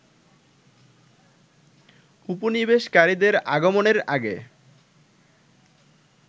উপনিবেশকারীদের আগমনের আগে